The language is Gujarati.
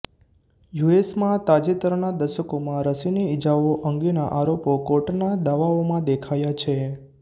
યુ એસ માં તાજેતરના દશકોમાં રસીની ઇજાઓ અંગેના આરોપો કોર્ટના દાવાઓમાં દેખાયા છે